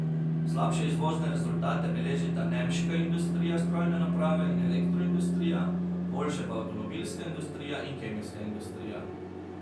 Slabše izvozne rezultate beležita nemška industrija strojne naprave in elektroindustrija, boljše pa avtomobilska industrija in kemijska industrija.